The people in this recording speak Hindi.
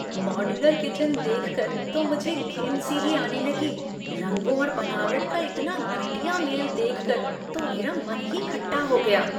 मॉड्यूलर किचन देखकर तो मुझे घिन सी ही आने लगी। रंगों और बनावट का इतना घटिया मेल देखकर, तो मेरा मन ही खट्टा हो गया।